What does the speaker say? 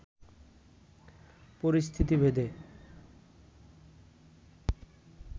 পরিস্থিতি ভেদে